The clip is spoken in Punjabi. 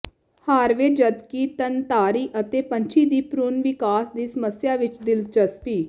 ਹਾਰਵੇ ਜਦਕਿ ਥਣਧਾਰੀ ਅਤੇ ਪੰਛੀ ਦੀ ਭ੍ਰੂਣ ਵਿਕਾਸ ਦੀ ਸਮੱਸਿਆ ਵਿੱਚ ਦਿਲਚਸਪੀ